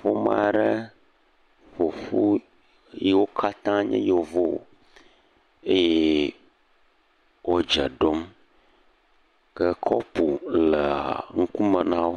Ƒome aɖe ƒoƒu yiwo katã nye yevu eye wòdze ɖom ke kɔpu leŋkume nawò